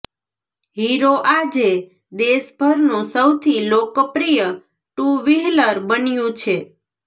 hero આજે દેશભરનું સૌથી લોકપ્રિય ટુ વહીલર બન્યું છે